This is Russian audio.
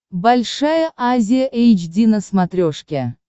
большая азия эйч ди на смотрешке